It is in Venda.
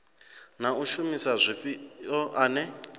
na u shumisa zwifhiwa ane